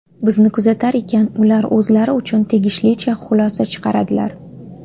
Bizni kuzatar ekan, ular o‘zlari uchun tegishlicha xulosa chiqaradilar”.